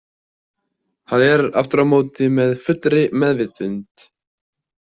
Það er aftur á móti með fullri meðvitund.